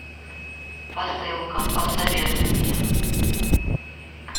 посылка посоветуй мне